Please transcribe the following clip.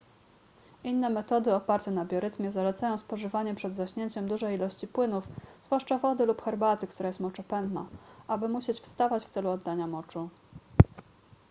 inne metody oparte na biorytmie zalecają spożywanie przed zaśnięciem dużej ilości płynów zwłaszcza wody lub herbaty która jest moczopędna aby musieć wstawać w celu oddania moczu